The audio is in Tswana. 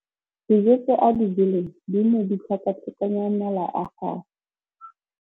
Dijô tse a di jeleng di ne di tlhakatlhakanya mala a gagwe.